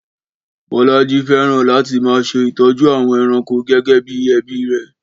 Bọ́lánlé fẹ́ràn láti máa ṣe ìtọ́jú àwọn ẹranko gẹ́gẹ́ bí ẹbí rẹ̀